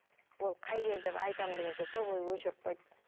ол қай жер деп айтамын дегенше сол бойы өшіріп қойды